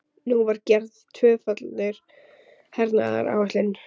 Nú var gerð tvöföld hernaðaráætlun.